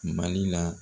Mali la